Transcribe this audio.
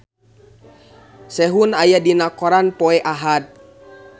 Sehun aya dina koran poe Ahad